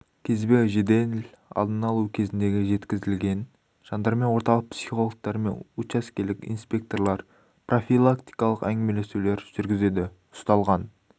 кезбе жедел алдын алу кезінде жеткізілген жандармен орталық психологтары мен участкелік инспекторлар профилактикалық әңгімелесулер жүргізеді ұсталған